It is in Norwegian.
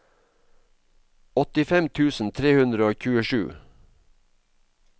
åttifem tusen tre hundre og tjuesju